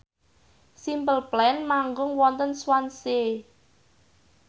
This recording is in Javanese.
Simple Plan manggung wonten Swansea